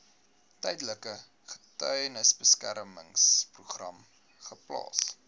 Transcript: tydelike getuiebeskermingsprogram geplaas